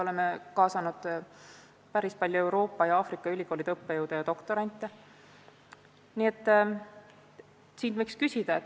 Oleme sinna kutsunud palju Euroopa ja Aafrika ülikoolide õppejõude ja doktorante.